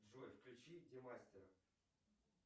джой включи демастера